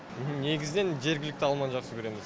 негізінен жергілікті алманы жақсы көреміз